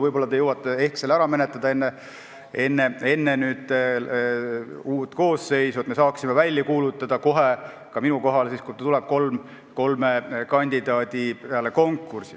Võib-olla te jõuate selle ära menetleda enne uut koosseisu, et me saaksime kohe välja kuulutada – ka minu kohale – kolm konkurssi.